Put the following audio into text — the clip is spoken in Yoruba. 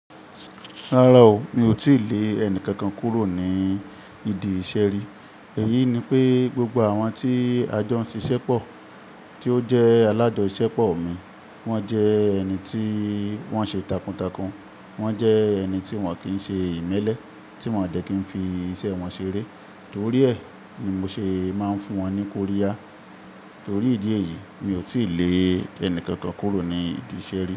Rárá o, mi ò tíì lé ẹni kankan kúrò ní ìdí ìṣe ri. Èyí ni pé gbogbo àwọn tí a jo n siṣé pọ̀, tí ó jẹ́ alájọ ṣisépọ̀ mi, wọ́n jẹ́ ẹni tí wọ́n ṣe takuntakun, wọ́n jẹ́ ẹni tí wọ́n kì n ṣe ìmẹ́lẹ́, tí wọ́n dẹ́ kí n fi iṣẹ́ wọn ṣeré. Torí ẹ̀ ni mo ṣe máa ń fún wọn ní kóri yà. Torí ìdí èyí, mi ò tí lè ẹni kankan kúrò ní ìdí ìṣe ri.